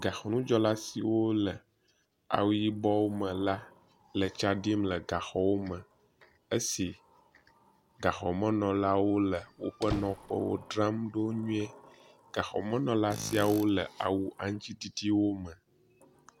Gaxɔnudzɔla siwo le awu yibɔ me la le tsa ɖim le gaxɔwo me esi gaxɔmenɔlawo le woƒe nɔƒewo dzram ɖo nyuie. Gaxɔmenɔla siawo le awu aŋtsiɖiɖiwo me.